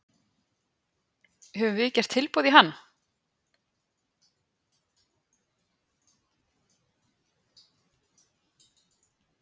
Höfum við gert tilboð í hann?